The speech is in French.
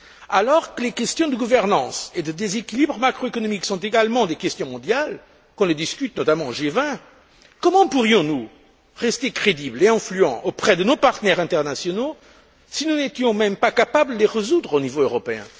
Alors que les questions de gouvernance et de déséquilibre macro économique sont également des questions mondiales et qu'on les discute notamment au G20, comment pourrions nous rester crédibles et influents auprès de nos partenaires internationaux si nous n'étions même pas capables de les résoudre au niveau européen?